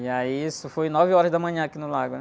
E aí isso foi nove horas da manhã aqui no lago, né?